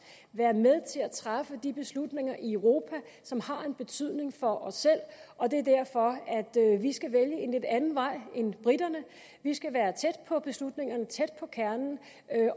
være med til at træffe de beslutninger i europa som har en betydning for os selv og det er derfor at vi skal vælge en lidt anden vej end briterne vi skal være tæt på beslutningerne tæt på kernen